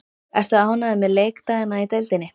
Ertu ánægður með leikdagana í deildinni?